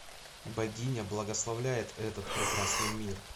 богиня благословляет этот прекрасный мир